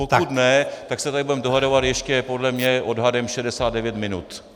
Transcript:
Pokud ne, tak se tady budeme dohadovat ještě podle mě odhadem 69 minut.